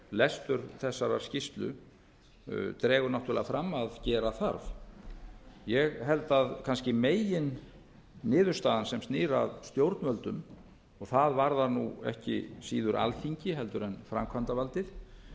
lestur þessarar skýrslu dregur náttúrlega fram að gera þarf ég held að kannski meginniðurstaðan sem snýr að stjórnvöldum og það varðar nú ekki síður alþingi heldur en framkvæmdavaldið